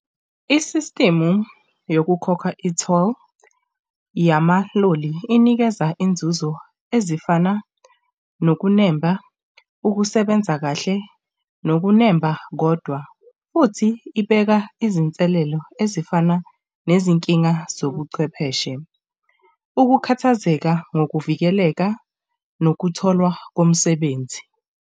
Isistimu yokukhokha i-toll yamaloli inikeza inzuzo ezifana nokunemba, ukusebenza kahle nokunemba, kodwa futhi ibeka izinselelo ezifana nezinkinga zobuchwepheshe, ukukhathazeka ngokuvikeleka nokutholwa komsebenzi.